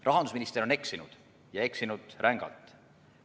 Rahandusminister on eksinud, ja eksinud rängalt.